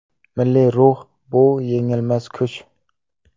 Milliy ruh bu yengilmas kuch.